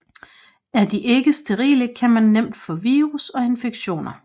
Er de ikke sterile kan man nemt få virus og infektioner